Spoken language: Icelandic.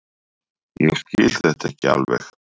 Ég skil þetta ekki alveg.